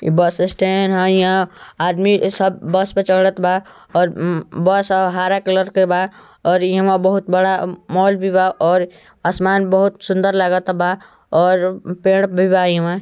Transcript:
एक bus stand हे यहा आदमी सब बस पे चड़त बा ओर बस हरा कलर का बा ओर इम बोहोत बड़ा मॉल भी बा ओर आसमान बोहोत सुंदर लागत बा ओर पेड़ भी बा इमा ।